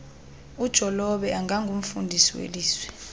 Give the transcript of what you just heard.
ujolobe angurnfundisi welizwi